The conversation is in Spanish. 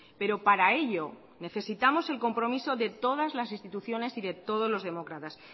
pero para ello necesitamos el compromiso de todas las instituciones y de todos los demócratas